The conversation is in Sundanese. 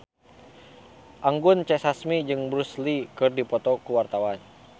Anggun C. Sasmi jeung Bruce Lee keur dipoto ku wartawan